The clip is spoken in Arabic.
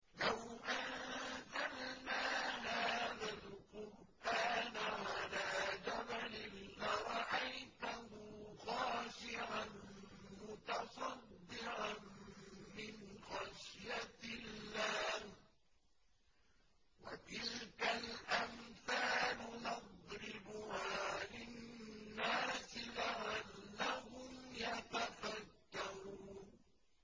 لَوْ أَنزَلْنَا هَٰذَا الْقُرْآنَ عَلَىٰ جَبَلٍ لَّرَأَيْتَهُ خَاشِعًا مُّتَصَدِّعًا مِّنْ خَشْيَةِ اللَّهِ ۚ وَتِلْكَ الْأَمْثَالُ نَضْرِبُهَا لِلنَّاسِ لَعَلَّهُمْ يَتَفَكَّرُونَ